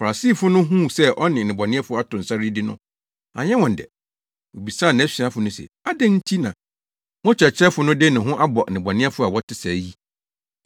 Farisifo no huu sɛ ɔne nnebɔneyɛfo ato nsa redidi no, anyɛ wɔn dɛ. Wobisaa nʼasuafo no se, “Adɛn nti na mo kyerɛkyerɛfo no de ne ho abɔ nnebɔneyɛfo a wɔte sɛɛ yi?”